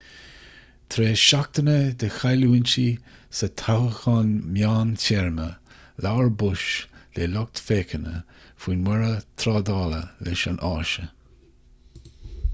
tar éis seachtaine de chailliúintí sa toghchán meántéarma labhair bush le lucht féachana faoin mborradh trádála leis an áise